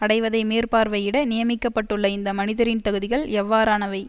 அடைவதை மேற்பார்வையிட நியமிக்கப்பட்டுள்ள இந்த மனிதரின் தகுதிகள் எவ்வாறானவை